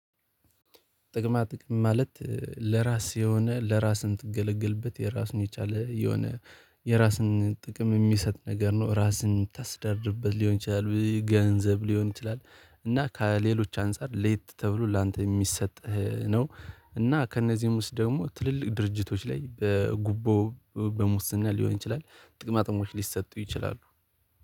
ጥቅማ ጥቅም ማለት ለራስ የሆነ ለራስህ ምትገለገልበት የራሱን የቻለ የሆነ የራስን ጥቅም የሚሰጥ ነገር ነው። ራስን ምታስተዳድርበት ሊሆን ይችላል ገንዘብ ሊሆን ይችላል። እና ከሌሎች አንፃር ለየት ተብሎ ላንተ የሚሰጥህ ነው። እና ከእነዚህም ውስጥ ደግሞ ትልልቅ ድርጅቶች ላይ በጉቦ በሙስና ሊሆን ይችላል። ጥቅማ ጥቅሞች ሊሰጡ ይችላሉ